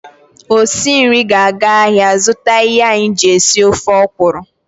Osi nri ga-aga ahịa azụta ihe anyị ji esi ofe ọkwụrụ.